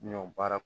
Ɲɔ baara